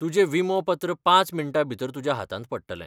तुजें विमोपत्र पांच मिण्टांभितर तुज्या हातांत पडटलें.